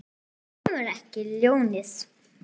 Þú lemur ekki ljónið.